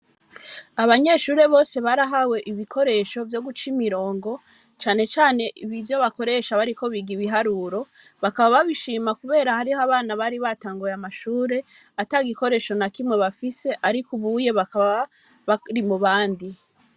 Abanyeshure bose, barahawe ibikoresho, vyo guca imirongo, cane cane ivyo bakoresha, bariko biga ibiharuro; bakaba babishima, kubera hariho abana, bari batanguye amashure, ata gikoresho na kimwe bafise, ariko ubuye, bakaba bari mu bandi.